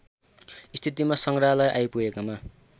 स्थितिमा सङ्ग्रहालय आइपुगेकामा